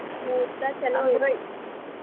ಮುಹೂರ್ತ ಚಲೊ ಇವತ್ತಿದ್ದು.